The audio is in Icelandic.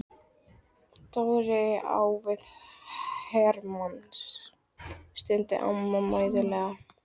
Dóri er á við her manns, stundi amma mæðulega.